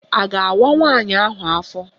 A ga-awa nwaanyị ahụ afọ?